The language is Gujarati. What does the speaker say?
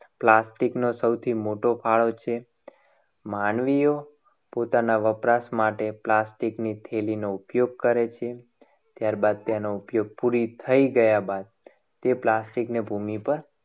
Plastic નું સૌથી મોટો ફાળો છે. માનવીઓ પોતાના વપરાશ માટે plastic ની થેલીનો ઉપયોગ કરે છે. ત્યારબાદ તેનો ઉપયોગ પૂરી થઈ ગયા બાદ તે plastic ની ભૂમિ પર